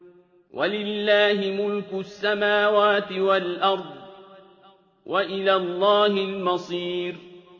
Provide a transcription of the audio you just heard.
وَلِلَّهِ مُلْكُ السَّمَاوَاتِ وَالْأَرْضِ ۖ وَإِلَى اللَّهِ الْمَصِيرُ